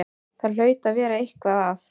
Það hlaut að vera eitthvað að.